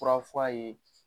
Fura fɔ a ye